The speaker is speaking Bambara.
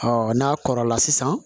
n'a kɔrɔla sisan